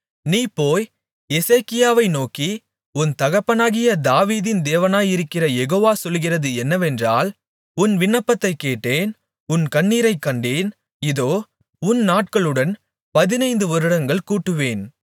நீ போய் எசேக்கியாவை நோக்கி உன் தகப்பனாகிய தாவீதின் தேவனாயிருக்கிற யெகோவா சொல்கிறது என்னவென்றால் உன் விண்ணப்பத்தைக் கேட்டேன் உன் கண்ணீரைக் கண்டேன் இதோ உன் நாட்களுடன் பதினைந்து வருடங்கள் கூட்டுவேன்